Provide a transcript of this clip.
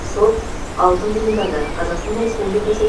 сот алтын бұйымдарды қазақстан республикасы